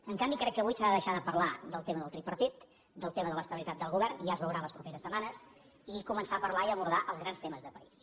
en canvi crec que avui s’ha de deixar de parlar del tema del tripartit del tema de l’estabilitat del govern ja es veurà en les properes setmanes i començar a parlar i abordar els grans temes de país